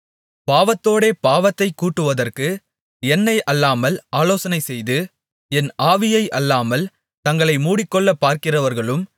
பாவத்தோடே பாவத்தைக் கூட்டுவதற்கு என்னை அல்லாமல் ஆலோசனைசெய்து என் ஆவியை அல்லாமல் தங்களை மூடிக்கொள்ளப் பார்க்கிறவர்களும்